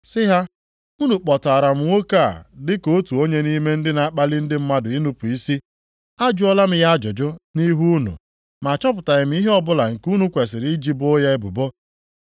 sị ha, “Unu kpọtaara m nwoke a dị ka otu onye nʼime ndị na-akpali ndị mmadụ inupu isi. Ajụọla m ya ajụjụ nʼihu unu ma achọpụtaghị m ihe ọbụla nke unu kwesiri iji boo ya ebubo.